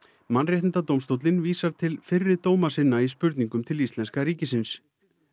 Mannréttindadómstóllinn vísar til fyrri dóma sinna í spurningunum til íslenska ríkisins